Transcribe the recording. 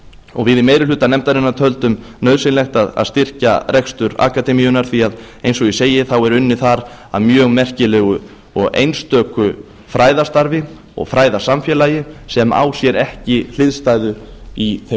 og við í meiri hluta nefndarinnar töldum nauðsynlegt að sækja rekstur akademíunnar því að eins og ég segi er unnið þar að mjög merkilegu og einstöku fræðastarfi og fræðasamfélagi sem á sér ekki hliðstæðu í þeim